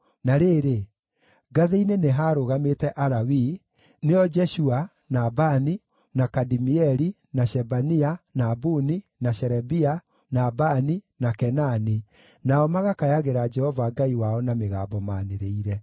Na rĩrĩ, ngathĩ-inĩ nĩ haarũgamĩte Alawii, nĩo Jeshua, na Bani, na Kadimieli, na Shebania, na Buni, na Sherebia, na Bani, na Kenani, nao magakayagĩra Jehova Ngai wao na mĩgambo maanĩrĩire.